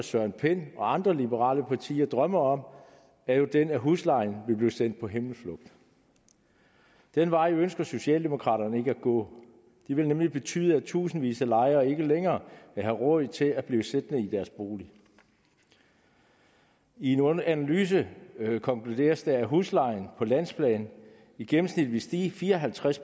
søren pind og andre liberale drømmer om er jo den at huslejen vil blive sendt på himmelflugt den vej ønsker socialdemokraterne ikke at gå det vil nemlig betyde at tusindvis af lejere ikke længere vil have råd til at blive siddende i deres bolig i en analyse konkluderes det at huslejen på landsplan i gennemsnit ville stige fire og halvtreds